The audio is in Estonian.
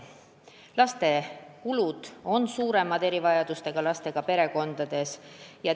Erivajadustega lastega perekondades on lastele tehtavad kulud suuremad.